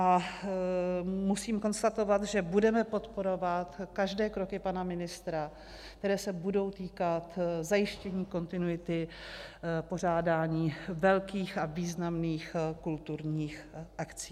A musím konstatovat, že budeme podporovat každé kroky pana ministra, které se budou týkat zajištění kontinuity pořádání velkých a významných kulturních akcí.